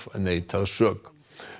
neitað sök